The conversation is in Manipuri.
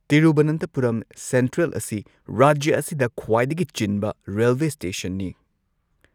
ꯇꯤꯔꯨꯚꯅꯟꯊꯄꯨꯔꯝ ꯁꯦꯟꯇ꯭ꯔꯦꯜ ꯑꯁꯤ ꯔꯥꯖ꯭ꯌ ꯑꯁꯤꯗ ꯈ꯭ꯋꯥꯏꯗꯒꯤ ꯆꯤꯟꯕ ꯔꯦꯜꯋꯦ ꯁ꯭ꯇꯦꯁꯟꯅꯤ꯫